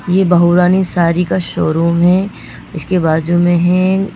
ये बहुरानी सारी का शोरूम है इसके बाजू में है।